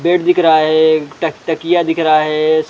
Bed दिख रहा है एक टकटकिया दिख रहा हैं।